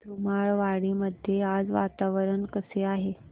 धुमाळवाडी मध्ये आज वातावरण कसे आहे